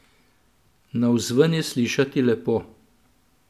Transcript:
Navzven je slišati lepo.